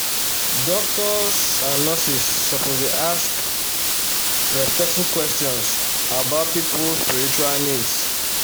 doctors and nurses suppose dey ask respectful questions about people spiritual needs.